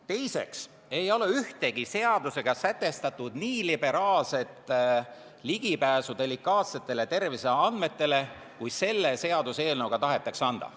Teiseks ei ole ühtegi seadusega sätestatud nii liberaalset ligipääsu delikaatsetele terviseandmetele, kui selle seaduseelnõuga tahetakse anda.